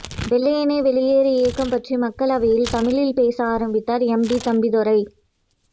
வெள்ளையனே வெளியேறு இயக்கம் பற்றி மக்களவையில் தமிழில் பேச ஆரம்பித்தார் எம்பி தம்பிதுரை